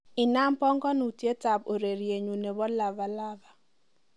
inaam pangonutiet ab ureryenyun nebo lava lava